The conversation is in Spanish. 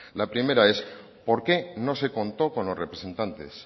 la primera es por qué no se contó con los representantes